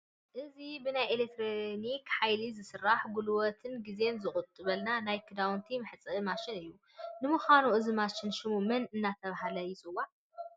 እዚ ብናይ ኤለክትሪክ ሓይሊ ዝሰርሕ ጉልበትን ግዜን ዝቑጥበልና ናይ ክዳውንቲ መሕፀቢ ማሽን እዩ፡፡ ንምዃኑ እዚ ማሽን ሸሙ መን እናተባህለ ይፅዋዕ?